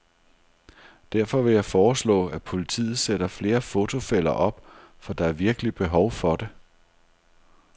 Derfor vil jeg foreslå, at politiet sætter flere fotofælder op, for der er virkelig behov for det.